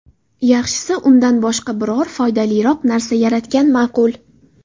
Yaxshisi, undan boshqa biror foydaliroq narsa yaratgan ma’qul.